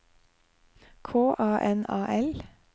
K A N A L